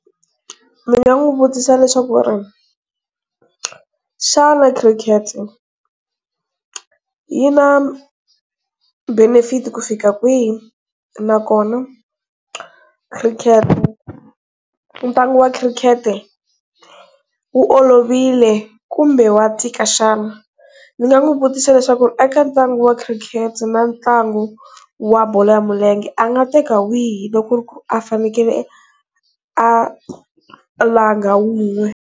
Ni nga n'wu vutisa leswaku, xana cricket yi na benefit ku fika kwihi, nakona cricket ntlangu wa cricket wu olovile kumbe wa tika xana? Ndzi nga n'wi vutisa leswaku eka ntlangu wa cricket na ntlangu wa bolo ya milenge a nga teka wihi loko a fane a langa wun'we?